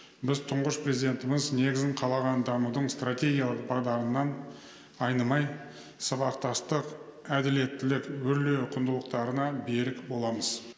біз тұңғыш президентіміз негізін қалаған дамудың стратегиялық бағдарынан айнымай сабақтастық әділеттілік өрлеу құндылықтарына берік боламыз